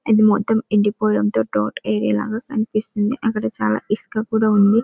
ఇది మొత్తం ఎండిపోవడం తో తోట ఏరియా లాగా కనిపిస్తుంది. అక్కడ చాల ఇసుక కూడా ఉంది.